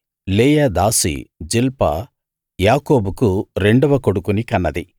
లేయా దాసి జిల్పా యాకోబుకు రెండవ కొడుకుని కన్నది